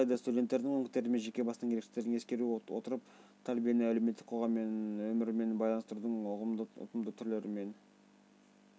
алайда студенттердің мүмкіндіктері мен жеке басының ерекшеліктерін ескеру отырып тәрбиені әлеуметтік қоғам өмірімен байланыстырудың ұтымды түрлері мен